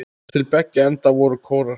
Til beggja enda voru kórar.